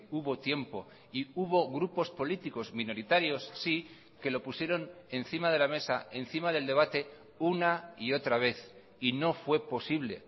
hubo tiempo y hubo grupos políticos minoritarios sí que lo pusieron encima de la mesa encima del debate una y otra vez y no fue posible